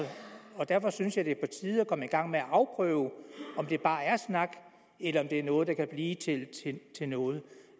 og derfor synes jeg det er på tide at komme i gang med at afprøve om det bare er snak eller om det er noget der kan blive til noget